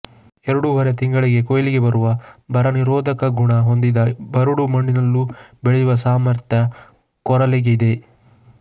ಎರಡೂವರೆ ತಿಂಗಳಿಗೆ ಕೊಯ್ಲಿಗೆ ಬರುವ ಬರ ನಿರೋಧಕ ಗುಣ ಹೊಂದಿದ ಬರಡು ಮಣ್ಣಿನಲ್ಲೂ ಬೆಳೆಯುವ ಸಾಮರ್ಥ್ಯ ಕೊರಲೆಗಿದೆ